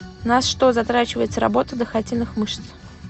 на что затрачивается работа дыхательных мышц